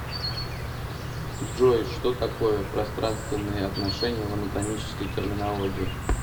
джой что такое пространственные отношения в анатомической терминологии